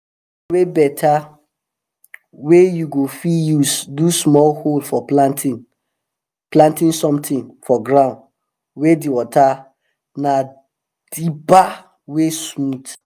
the thing wey better wey you go fit use do small hole for planting something for ground wey dey water na dibber wey smooth.